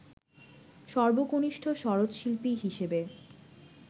সর্বকনিষ্ঠ সরোদশিল্পী হিসেবে